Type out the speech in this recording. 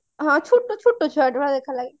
ହଁ ଛୋଟ ଛୋଟ ଛୁଆ ଭଳିଆ ଦେଖିବାକୁ ଲାଗେ